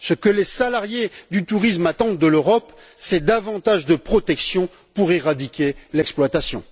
Ce que les salariés du tourisme attendent de l'Europe, c'est davantage de protection pour éradiquer l'exploitation.